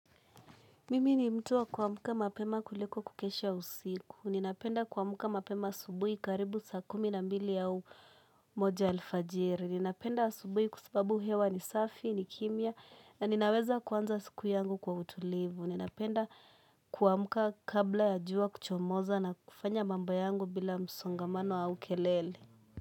Mimi ni mtu wa kuamuka mapema kuliko kukesha usiku. Ninapenda kuamuka mapema asubuhi karibu saa kumi na mbili au moja alfajiri. Ninapenda asubuhi kwa sababu hewa ni safi, ni kimya na ninaweza kuanza siku yangu kwa utulivu. Ninapenda kuamuka kabla ya jua kuchomoza na kufanya mambo yangu bila msongamano au kelele.